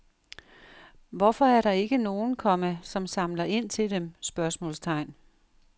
Hvorfor er der ikke nogen, komma som samler ind til dem? spørgsmålstegn